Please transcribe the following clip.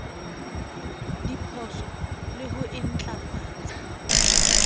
diphoso le ho e ntlafatsa